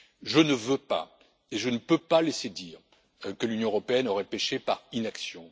Je ne veux pas et je ne peux pas laisser dire que l'Union européenne aurait péché par inaction.